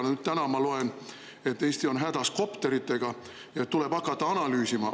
Ja täna ma loen, et Eesti on hädas kopteritega ja tuleb hakata analüüsima.